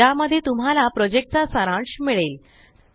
ज्या मध्ये तुम्हाला प्रोजेक्ट चा सारांश मिळेल